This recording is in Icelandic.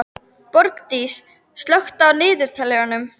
Borgdís, slökktu á niðurteljaranum.